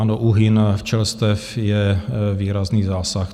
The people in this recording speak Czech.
Ano, úhyn včelstev je výrazný zásah.